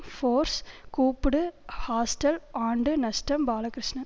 force கூப்பிடு hostel ஆண்டு நஷ்டம் பாலகிருஷ்ணன்